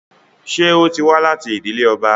Ṣé ó ti wá láti ìdílé ọba?